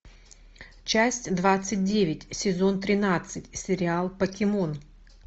часть двадцать девять сезон тринадцать сериал покемон